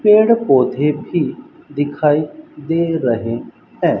पेड़ पौधे भी दिखाई दे रहे हैं।